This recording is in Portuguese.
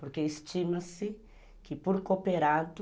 Porque estima-se que por cooperado...